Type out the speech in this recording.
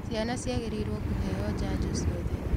Ciana ciagĩrĩirwo kũheo janjo ciothe.